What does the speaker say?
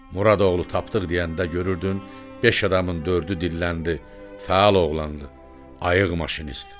Muradoğlu Tapdıq deyəndə görürdün, beş adamın dördü dilləndi: fəal oğlandı, ayıq maşinist.